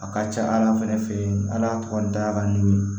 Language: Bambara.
A ka ca ala fɛ an n'a tɔgɔ ntanya n'o ye